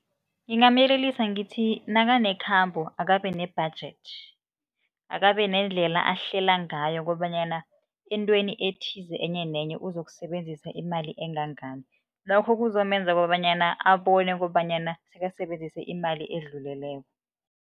Ngingamuyelelisa ngithi nakanekhambo, akabe ne-budget, akabe nendlela ahlela ngayo kobanyana eentweni ethize enye nenye uzokusebenzisa imali engangani lokho kuzomenza kobanyana abone kobanyana sekasebenzise imali edluleleko.